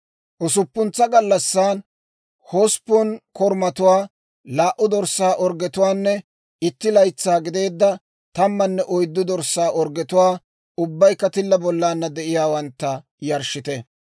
« ‹Usuppuntsa gallassan, hosppun korumatuwaa, laa"u dorssaa orggetuwaanne itti laytsaa gideedda tammanne oyddu dorssaa orggetuwaa, ubbaykka tilla bollana de'iyaawantta, yarshshite.